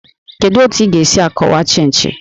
Kedu otu ị ga-esi akọwa Chịnchị?